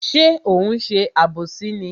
Ṣé ó ń ṣe àbòsí ni?